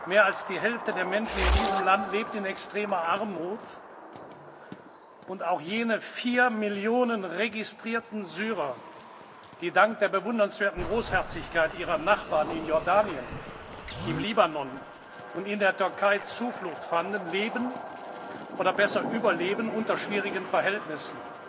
Mehr als die Hälfte der Menschen in diesem Land lebt in extremer Armut, und auch jene vier Millionen registrierten Syrer, die dank der bewundernswerten Großherzigkeit ihrer Nachbarn in Jordanien, im Libanon und in der Türkei Zuflucht fanden, leben, oder besser überleben, unter schwierigen Verhältnissen.